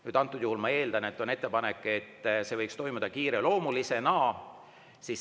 Esiteks, antud juhul ma eeldan, et on ettepanek, et see võiks toimuda kiireloomulisena.